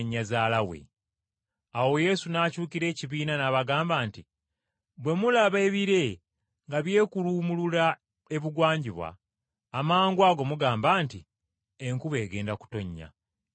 Awo Yesu n’akyukira ekibiina n’abagamba nti, “Bwe mulaba ebire nga byekuluumulula ebugwanjuba, amangwago mugamba nti, ‘Enkuba egenda kutonnya,’ era n’etonnya.